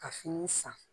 Ka fini san